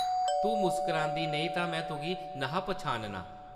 ‘‘तूं मुस्करांदी नेईं तां में तुगी न’हा पन्छानना ।’’